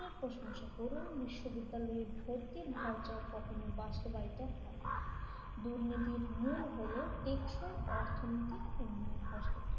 প্রশংসা করেও বিশ্ববিদ্যালয় ভর্তির ভাউচার কখনো বাস্তবায়িত হয়নি দুর্নীতির মূল হল টেকসই ও অর্থনৈতিক উন্নয়ন হস্তক্ষেপ